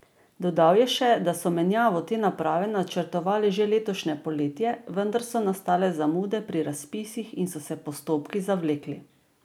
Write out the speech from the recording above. Dodal je še, da so menjavo te naprave načrtovali že za letošnje poletje, vendar so nastale zamude pri razpisih in so se postopki zavlekli.